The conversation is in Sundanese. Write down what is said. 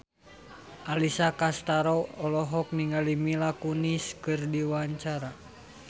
Alessia Cestaro olohok ningali Mila Kunis keur diwawancara